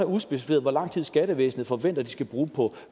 udspecificeret hvor lang tid skattevæsen forventer de skal bruge på